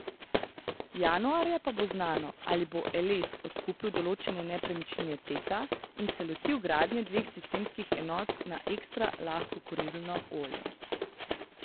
Januarja pa bo znano, ali bo Eles odkupil določene nepremičnine Teta in se lotil gradnje dveh sistemskih enot na ekstra lahko kurilno olje.